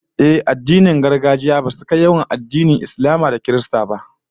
Ehh, addinin gargajiya basu kai yawan addinan Islama da Kiristanci ba